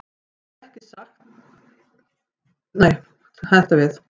Árni hefur sem sagt ekki fundið neina skýringu á nafninu.